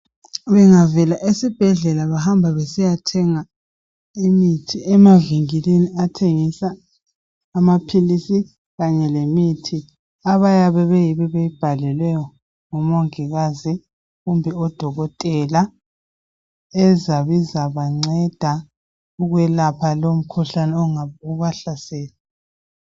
Bengavela esibhedlela bahamba besiyathenga imithi emavinkilini athengisa amaphilisi kanye lemithi abayabe beyibhalelwe ngomongikazi kumbe odokotela ezabizabanceda ukwelapha lowo mkhuhlane ongabubahlasele